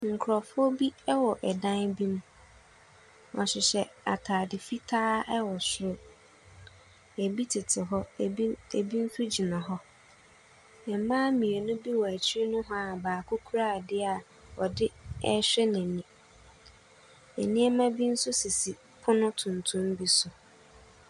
Nkurofoɔ bi ɛwɔ ɛdan bi mu. Wɔhyehyɛ ataade fitaa ɛwɔ soro. Ebi tete hɔ, ebi nso gyina hɔ. Mmaa mmienu bi wɔ akyire nohoaa a baako kora ade ɔde ɛhwɛ n'ani. Nneɛma bi nso sisi pono tuntum bi so.